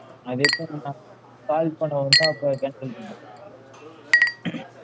அது எப்டி madam call பண்னோன அப்ப cancel பண்றதுக்கா?